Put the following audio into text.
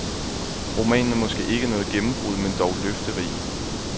Romanen er måske ikke noget gennembrud, men dog løfterig.